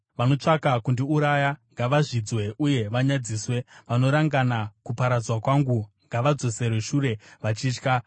Vanotsvaka kundiuraya ngavazvidzwe uye vanyadziswe; vanorangana kuparadzwa kwangu ngavadzoserwe shure vachitya.